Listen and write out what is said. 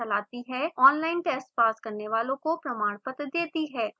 online test pass करने वालों को प्रमाणपत्र देती है